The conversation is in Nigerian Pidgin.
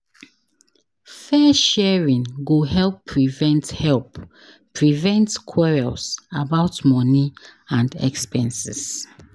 Fair sharing go help prevent help prevent quarrels about money and expenses.